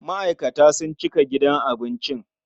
Ma'aikata sun cika gidan abincin.